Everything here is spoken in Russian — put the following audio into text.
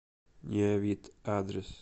неовит адрес